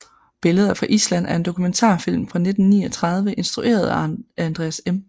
Billeder fra Island er en dokumentarfilm fra 1939 instrueret af Andreas M